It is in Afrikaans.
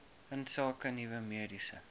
insake nuwe mediese